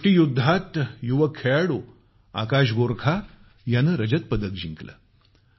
मुष्टीयुद्धात युवक खेळाडू आकाश गोरखा यानं रजत पदक जिंकलं